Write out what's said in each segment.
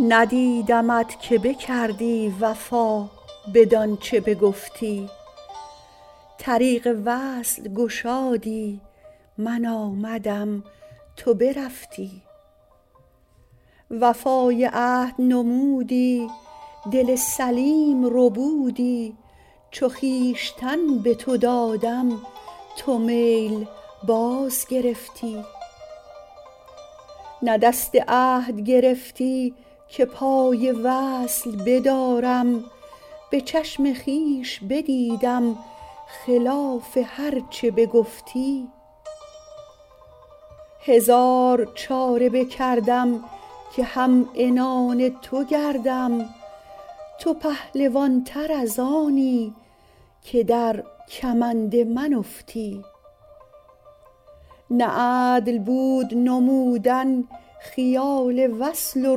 ندیدمت که بکردی وفا بدان چه بگفتی طریق وصل گشادی من آمدم تو برفتی وفای عهد نمودی دل سلیم ربودی چو خویشتن به تو دادم تو میل باز گرفتی نه دست عهد گرفتی که پای وصل بدارم به چشم خویش بدیدم خلاف هر چه بگفتی هزار چاره بکردم که هم عنان تو گردم تو پهلوان تر از آنی که در کمند من افتی نه عدل بود نمودن خیال وصل و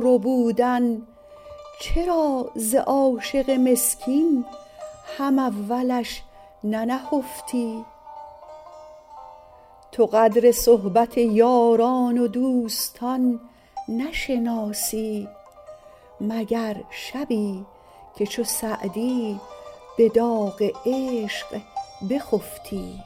ربودن چرا ز عاشق مسکین هم اولش ننهفتی تو قدر صحبت یاران و دوستان نشناسی مگر شبی که چو سعدی به داغ عشق بخفتی